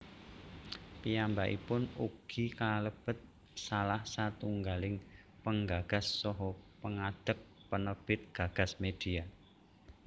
Piyambakipun ugi kalebet salah satunggaling penggagas saha pengadeg penerbit GagasMedia